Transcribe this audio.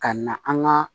Ka na an ka